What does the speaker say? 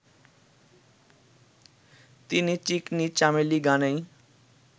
তিনি 'চিকনি চামেলি' গানেই